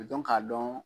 Dɔn k'a dɔn